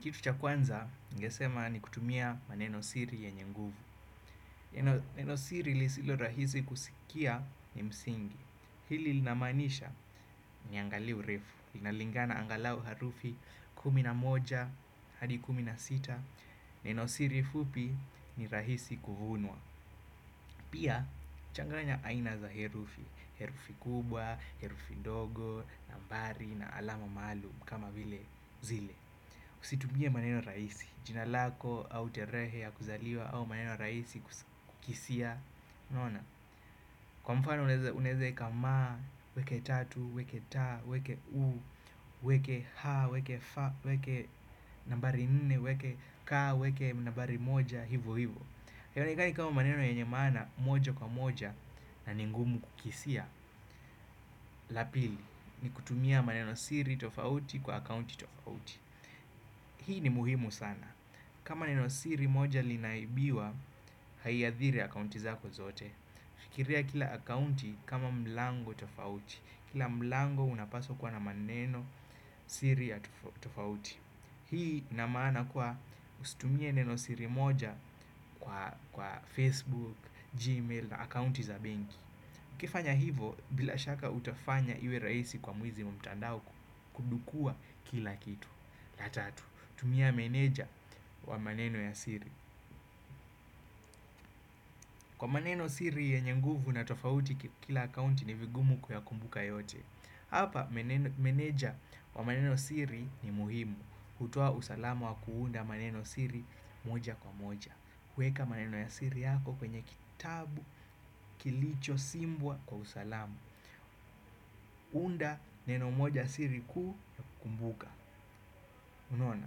Kitu cha kwanza, ningesema ni kutumia maneno siri yenye nguvu. Neno siri lisilo rahisi kusikia ni msingi. Hili linamanisha niangalie urefu. Linalingana angalau harufi kumi na moja, hadi kumi na sita. Neno siri fupi ni rahisi kuvunwa. Pia, changanya aina za herufi. Herufi kubwa, herufi ndogo, nambari na alama maalum kama vile zile. Usitumie maneno rahisi, jina lako au tarehe ya kuzaliwa au maneno rahisi. Kwa mfano unaeze eka ma, ueke tatu, ueke ta, ueke u, ueke ha, ueke fa, ueke nambari nne, ueke ka, ueke nambari moja, hivo hivo. Haionekani kama maneno yenye maana moja kwa moja na ningumu kukisia. La pili ni kutumia maneno siri tofauti kwa account tofauti. Hii ni muhimu sana. Kama maneno siri moja linaibiwa haiathiri akaunti zako zote. Kiria kila akaunti kama mlango tofauti. Kila mlango unapaswa kuwa na maneno siri ya tofauti. Hii ina maana kuwa ustumie neno siri moja kwa, Facebook, Gmail na akaunti za benki. ukifanya hivo bila shaka utafanya iwe raisi kwa mwizi muntandao kudukua kila kitu. La tatu, tumia meneja wa maneno ya siri. Kwa maneno siri yenye nguvu na tofauti kila akaunti ni vigumu kuyakumbuka yote. Hapa meneja wa maneno siri ni muhimu hutoa usalamu wa kuunda maneno siri moja kwa moja. Kueka maneno ya siri yako kwenye kitabu, kilicho, simbwa kwa usalamu. Unda neno moja siri kuu ya kukumbuka. Unaona,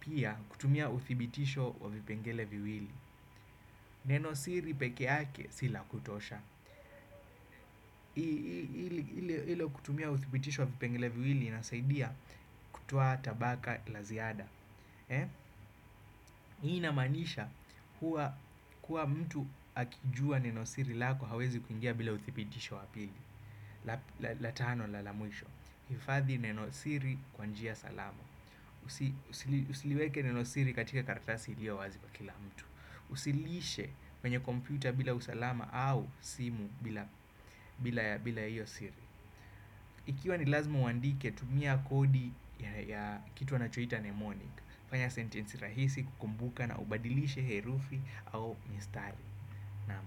pia kutumia uthibitisho wa vipengele viwili. Neno siri pekeake si la kutosha. Ile kutumia uthibitisho wa vipengele viwili inasaidia kutoa tabaka la ziada hii inamanisha huwa kuwa mtu akijua neno siri lako hawezi kuingia bila uthipitisho wa pili. La tano na la mwisho hifadhi neno siri kwa njia salama. Usiliweke neno siri katika karatasi ilio wazi kwa kila mtu. Usilishe kwenye kompyuta bila usalama au simu bila iyo siri. Ikiwa ni lazima uandike tumia kodi ya kitu wanachoita memonic. Fanya sentensi rahisi kukumbuka na ubadilishe herufi au mistari. Naam.